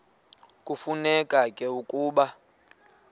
kufuneka ke ukuba